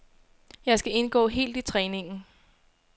Jeg skal indgå helt i træningen.